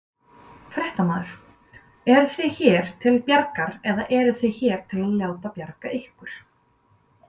Fréttamaður: Eruð þið hér til bjargar eða eruð þið hér til að láta bjarga ykkur?